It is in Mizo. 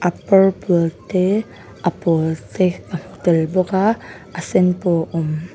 purple te a pawl te ka hmu tel bawk a a sen pawh a awm--